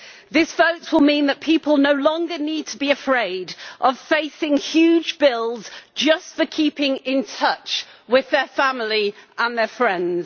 This vote will mean that people no longer need to be afraid of facing huge bills just for keeping in touch with their family and their friends.